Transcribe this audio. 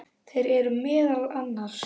Þeir eru meðal annars